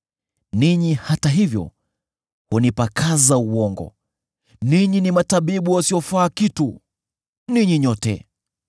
Ninyi, hata hivyo, hunipakaza uongo; ninyi ni matabibu wasiofaa kitu, ninyi nyote!